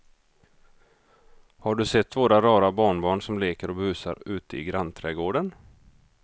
Har du sett våra rara barnbarn som leker och busar ute i grannträdgården!